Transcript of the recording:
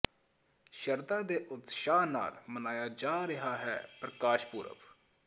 ਸ਼ਰਧਾ ਤੇ ਉਤਸ਼ਾਹ ਨਾਲ ਮਨਾਇਆ ਜਾ ਰਿਹਾ ਹੈ ਪ੍ਰਕਾਸ਼ ਪੁਰਬ